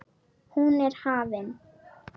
Hún er hafin.